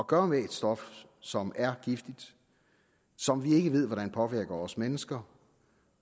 gøre med et stof som er giftigt som vi ikke ved hvordan påvirker os mennesker